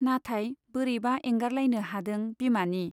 नाथाय बोरैबा एंगारलायनो हादों बिमानि